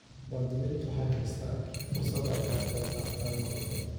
Muwaadiniintu waxay haystaan ??fursad ay kaga qayb qaataan go'aamada.